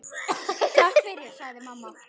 Takk fyrir, sagði mamma.